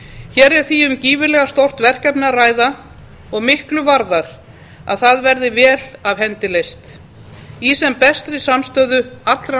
hér er því um gífurlega stórt verkefni að ræða og miklu varðar að það verði vel af hendi leyst og í sem bestri samstöðu allra